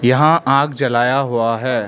यहां आग जलाया हुआ है।